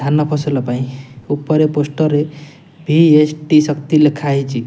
ଧନ ଫସଲ ପାଇଁ ଉପରେ ପୋଷ୍ଟ ଭି_ଏସ_ଟି ଶକ୍ତି ଲେଖା ହେଇଛି।